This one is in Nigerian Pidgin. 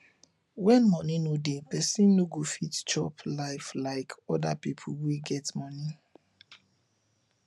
when money no dey person no go fit chop life like oda pipo wey get money